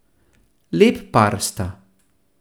Lep par sta.